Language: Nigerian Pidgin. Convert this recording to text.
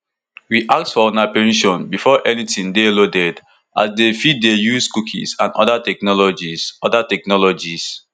we ask for una permission before anytin dey loaded as dem fit dey use cookies and oda technologies oda technologies